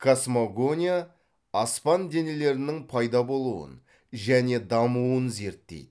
космогония аспан денелерінің пайда болуын және дамуын зертейді